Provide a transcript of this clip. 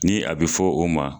Ni a be fɔ o ma